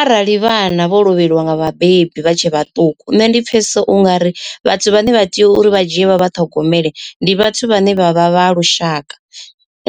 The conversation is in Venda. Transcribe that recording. Arali vhana vho lovheliwa nga vhabebi vha tshe vhaṱuku nne ndi pfesesa ungari vhathu vhane vha tea uri vha dzhie vha vhaṱhogomele ndi vhathu vhane vha vha vha lushaka.